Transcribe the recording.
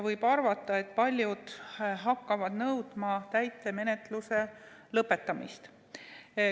Võib arvata, et paljud hakkavad nõudma täitemenetluse lõpetamist.